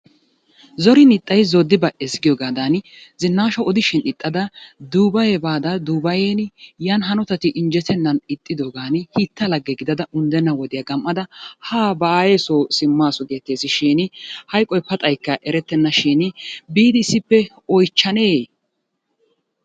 Zorin iixxay zoodi ba"ees giyogaadan zinaasha odishin ixxada Duubaye baada Dubayeen yan hanotati injjettenan ixxiddogan hiitta lagge gidada unddenna wodiya gam'ada haa ba aayyeeso simmasu gettees shin hayqqoy paxaykka erettenna shin biidi issippe oychchanne?